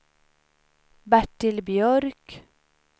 Bertil Björk